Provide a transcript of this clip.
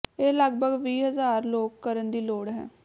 ਇਹ ਲਗਭਗ ਵੀਹ ਹਜ਼ਾਰ ਲੋਕ ਕਰਨ ਦੀ ਲੋੜ ਹੈ